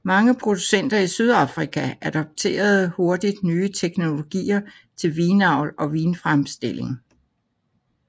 Mange producenter i Sydafrika adopterede hurtigt nye teknologier til vinavl og vinfremstilling